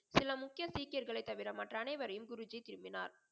சில முக்கிய சீக்கியர்களை தவிர மற்ற அனைவரையும் குருஜி திருப்பினார்.